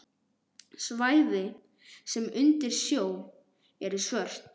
Svæði, sem voru undir sjó, eru svört.